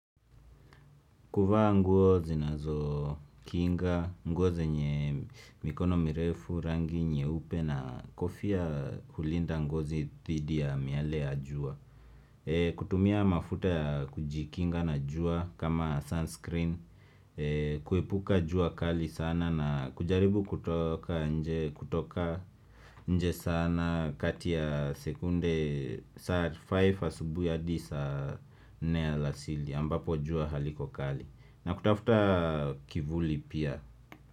Kuvaa nguo zinazokinga, nguo zenye mikono mirefu, rangi nyeupe na kofia kulinda ngozi thidi ya miale ya jua kutumia mafuta ya kujikinga na jua kama sunscreen, kuepuka jua kali sana na kujaribu kutoka nje kutoka nje sana kati ya sekunde saa five asubuhi hadi saa nne alasiri ambapo jua haliko kali na kutafuta kivuli pia.